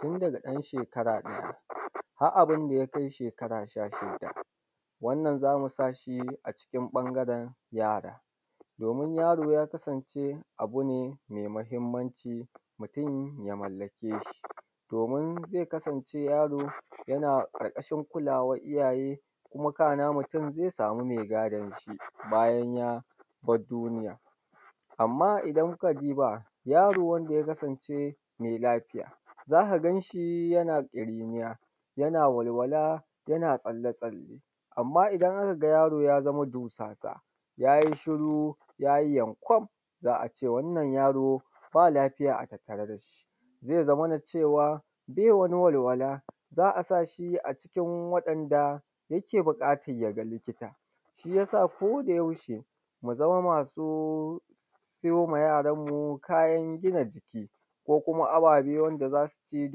Tun daga ɗan shekara ɗaya har abunda ya kai shekara sha shida wannan zamu sa shi a cikin ɓangaren yara. domin yaro ya ya kasance abu ne mai mahimmanci mutun ya mallake shi, domin zai kasance yaro yana ƙarkashin kulawan iyaye kuma kana mutun zai samu mai gadon shi bayan ya bar duniya. Amma idan kuka duba yaro wanda yakasance mai lafiya za ka gan shi yana ƙiriniya, yana walwala, yana tsalle tsalle. Amma idan aka ga yaro ya zama dusasa yayi shiru yayi yankwam, za a ce wannan yaro ba lafiya a tattare da shi, zai zamana cewa bai wani walwala, za a sa shi a cikin waɗnda yake buƙatan yaga likita. Shi yasa ko da yaushe mu zama masu siyowa yaran mu kayan gina jiki ko kuma ababe wanda za su ci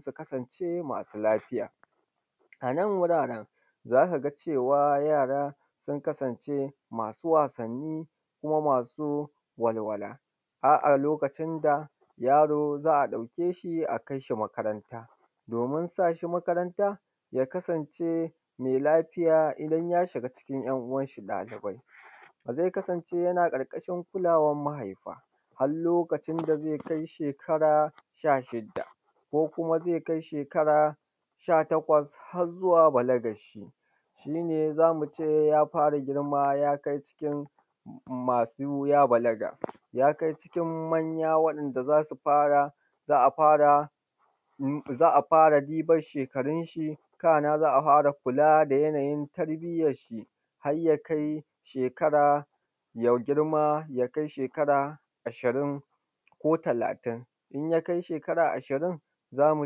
su kasance masu lafiya. Anan wuraren za ka ga cewa yara sun kasance masu wasanni, kuma masu walwala a lokacin da yaro za a ɗauke shi a kai shi makaranta domin sa shi makaranta ya kasance mai lafiya idan ya shiga cikin ‘yan uwanshi ɗalibai zai kasance yana ƙarƙashin kulawan mahaifa har lokacin da zai kai shekara sha shida ko kuma zai kai shekara sha takwas har zuwa balagan shi shi ne zamu ce ya fara girma ya kai cikin matakin manya masu ya balaga. Ya kai cikin manya wanda za su za a fara diban shekarun shi, kana za a fara kula da yanayin tarbiyan shi har ya kai shekara ya girma ya kai shekara ashirin ko talatin. In ya kai shekara ashirin za mu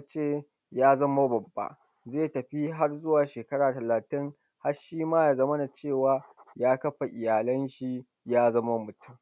ce ya zama babba zai tafi har shekara talatin har shi ma ya zamana cewa ya kafa iyalan shi ya zama mutun.